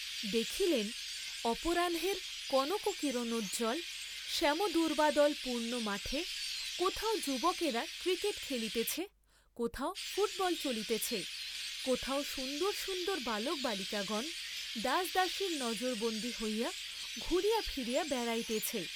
দেখিলেন অপরাহ্নের কনককিরণোজ্জল শ্যামদূর্ব্বাদল পূর্ণ মাঠে কোথাও যুবকেরা ক্রিকেট খেলিতেছে, কোথাও ফুটবল চলিতেছে, কোথাও সুন্দর সুন্দর বালক বালিকাগণ দাসদাসীর নজরবন্দী হইয়া ঘুরিয়া ফিরিয়া বেড়াইতেছে।